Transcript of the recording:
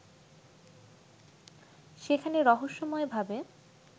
সেখানে রহস্যময়ভাবে